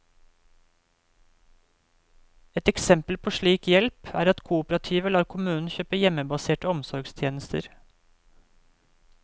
Et eksempel på slik hjelp, er at kooperativet lar kommunen kjøpe hjemmebaserte omsorgstjenester.